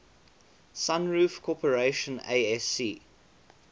sunroof corporation asc